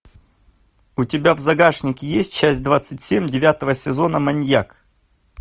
у тебя в загашнике есть часть двадцать семь девятого сезона маньяк